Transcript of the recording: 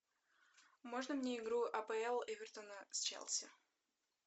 можно мне игру апл эвертона с челси